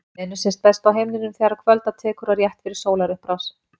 Venus sést best á himninum þegar kvölda tekur og rétt fyrir sólarupprás.